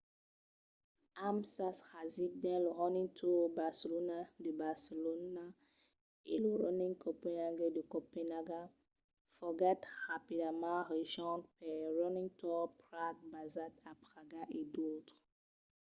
amb sas rasics dins lo running tours barcelona de barcelona e lo running copenhagen de copenaga foguèt rapidament rejonch per running tours prague basat a praga e d’autres